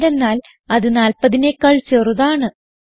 എന്തെന്നാൽ അത് 40നെക്കാൾ ചെറുതാണ്